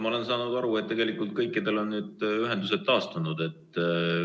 Ma olen saanud aru, et kõikidel on ühendused taastunud.